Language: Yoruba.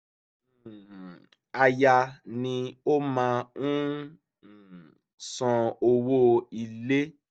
um aya ni ó máa ń san owó ilé